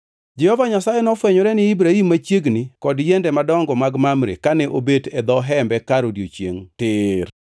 Jehova Nyasaye nofwenyore ne Ibrahim machiegni kod yiende madongo mag Mamre kane obet e dho hembe kar odiechiengʼ tir.